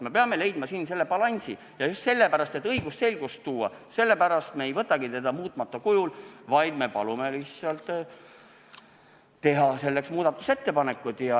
Me peame leidma siin selle balansi ja just sellepärast, et õigusselgus tagada, me ei võtagi seadust vastu muutmata kujul, vaid palume teha muudatusettepanekud.